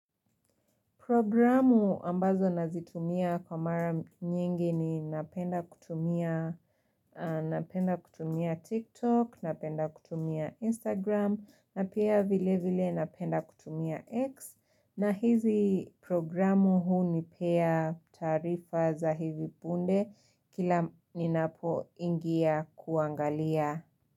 Programu ambazo nazitumia kwa mara nyingi ninapenda kutumia TikTok, napenda kutumia Instagram, na pia vilevile napenda kutumia X. Na hizi programu hunipea taarifa za hivi punde kila ninapoingia kuangalia.